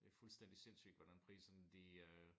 Det fuldstændig sindssygt hvordan priserne de øh